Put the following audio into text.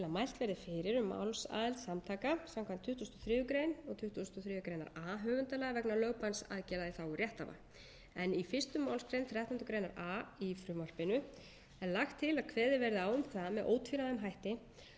mælt verði fyrir um málsaðild samtaka samkvæmt tuttugustu og þriðju greinar og tuttugasta og þriðju grein a höfundalaga vegna lögbannsaðgerða í þágu rétthafa í fyrstu málsgreinar þrettándu grein a í frumvarpinu er lagt til að kveðið verði á um það með ótvíræðum hætti að þau höfundaréttarsamtök eða önnur samtök sem